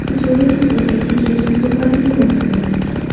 এই ছবিটিতে একটি কেকের দোকানকে বোঝানো হচ্ছে।